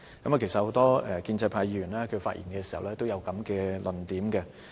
其實，很多建制派議員發言時都有這類論點。